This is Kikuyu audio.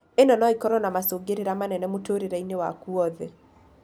Ino no ĩkoro na macũngĩrĩra manene mũtũrĩre-inĩ waku wothe.